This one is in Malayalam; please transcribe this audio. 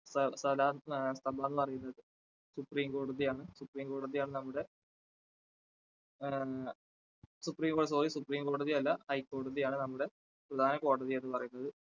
സ്ഥ~സ്ഥലം പറയുന്നത് supreme കോടതിയാണ് supreme കോടതിയാണ് നമ്മുടെ supreme കോടതി sorrysupreme കോടതി അല്ല high ക്കോടതിയാണ് നമ്മുടെ പ്രധാന കോടതി എന്ന് പറയുന്നത്.